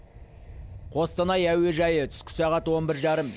қостанай әуежайы түскі сағат он бір жарым